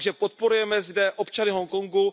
Takže podporujeme zde občany Hongkongu.